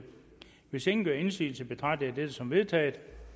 hvis ingen gør indsigelse betragter jeg dette som vedtaget